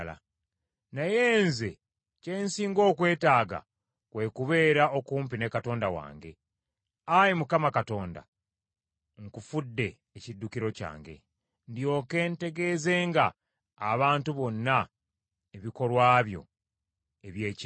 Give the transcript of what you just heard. Naye nze kye nsinga okwetaaga kwe kubeera okumpi ne Katonda wange. Ayi Mukama Katonda, nkufudde ekiddukiro kyange; ndyoke ntegeezenga abantu bonna ebikolwa byo eby’ekyewuunyo.